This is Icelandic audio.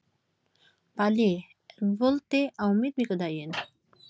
Palli, er bolti á miðvikudaginn?